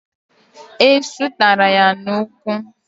Esụ taara ya n'ụkwụ